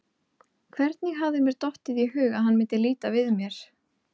Hvernig hafði mér dottið í hug að hann myndi líta við mér?